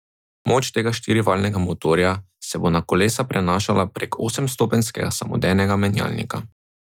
Moč tega štirivaljnega motorja se bo na kolesa prenašala prek osemstopenjskega samodejnega menjalnika.